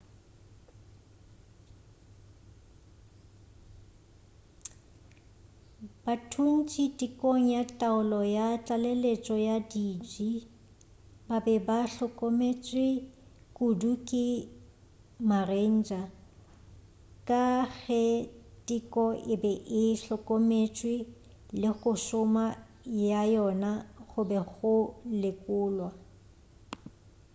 bathuntši tekong ya taolo ya tlaleletšo ya diji ba be ba hlokometšwe kudu ke ma-ranger ka ge teko e be e hlokometšwe le go šoma ga yona go be go lekolwa